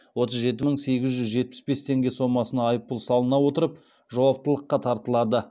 отыз жеті мың сегіз жүз жетпіс бес теңге сомасына айыппұл салына отырып жауаптылыққа тартылады